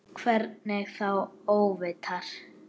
Hvernig þá óvitar?